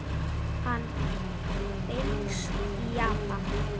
Hann finnst í Japan.